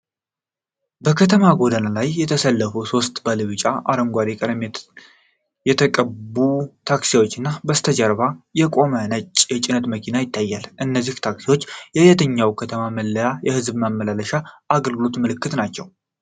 በከተማ ጎዳና ዳር የተሰለፉ ሦስት ባለቢጫና አረንጓዴ ቀለም የተቀቡ ታክሲዎች እና በስተጀርባው የቆመ ነጭ የጭነት መኪና ይታያል። እነዚህ ታክሲዎች የየትኛው ከተማ መለያ የሕዝብ ማመላለሻ አገልግሎት ምልክት ናቸው?